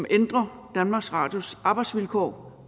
ændrer danmarks radios arbejdsvilkår